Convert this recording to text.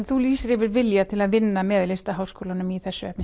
þú lýsir yfir vilja til að vinna með Listaháskólanum í þessu efni